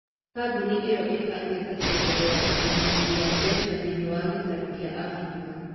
Kambuni ĩyo ĩĩbagĩte kuongerera ũnyitanĩri wa mbeca thĩinĩ wa gĩtarũ kĩa Afrika.